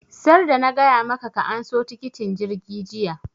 sarda na gaya maka ka anso tikitin jirgi jiya!